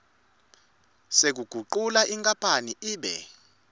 sekugucula inkapani ibe